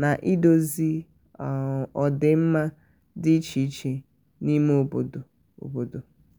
na-idozi um ọdịmma dị iche iche n'ime obodo. um obodo. um